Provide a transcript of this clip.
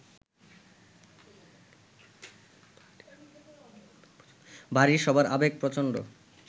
বাড়ির সবার আবেগ প্রচন্ড